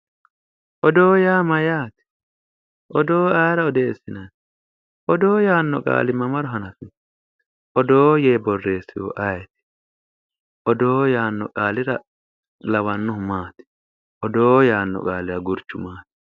Odoo yaa mayyaate odoo ayeera odeessinanni odoo yaanno qaali mamaro hanafino odoo yee borreessihu ayeeti odoo yaanno qaalira lawannohu maati odoo yaanno qaalira gurchu maati